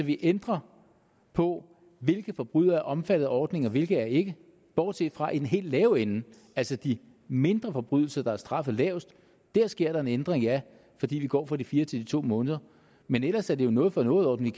vi ændrer på hvilke forbrydere der er omfattet af ordningen og hvilke der ikke er bortset fra i den helt lave ende altså de mindre forbrydelser der er straffet lavest der sker der en ændring ja fordi vi går fra de fire til de to måneder men ellers er det jo en noget for noget ordning